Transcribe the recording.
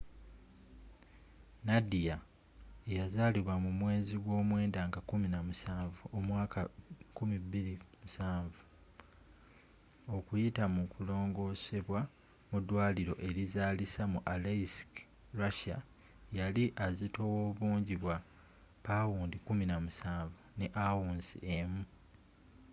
nadia eyazalibwa mu mwezi gw'omwenda nga 17 omwaka 2007 okuyita mu kulongoosebwa mu ddwaliro erizaalisa mu aleisk russia yali azitowa obungi bwa 17 pounds 1 ounce